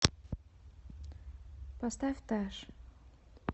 поставь тэш